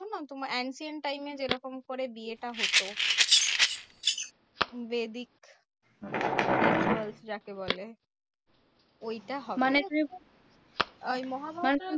তোমার ancient time এ যেরকম করে বিয়েটা হতো? বৈদিক rituals যাকে বলে? ঐটা হবে ওই মহাভারতের